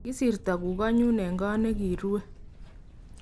kisirto kukoe nyu Eng' koot naenae kikiruue